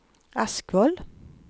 Askvoll